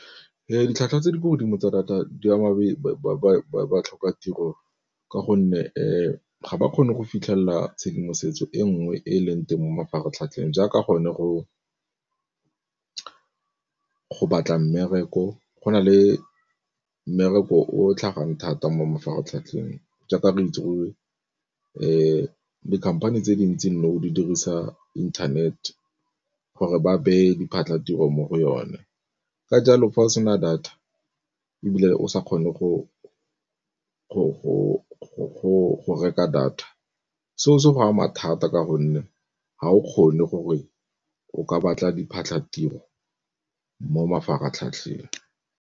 Ditlhwatlhwa tse di kwa godimo tsa data di ama ba tlhoka tiro ka gonne fa ga ba kgone go fitlhelela tshedimosetso e nngwe e e leng teng mo mafaratlhatlheng, jaaka gone go batla mmereko. Go na le mmereko o tlhagang thata mo mafaratlhatlheng jaaka re itse gore di-company tse dintsi nou di dirisa internet gore ba beye diphatlatiro mo go yone. Ka jalo fa o sena data ebile o sa kgone go reka data seo se go ama thata ka gonne ga o kgone gore o ka batla diphatlhatiro mo mafaratlhatlheng.